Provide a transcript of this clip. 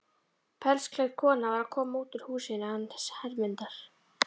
Pelsklædd kona var að koma út úr húsinu hans Hermundar.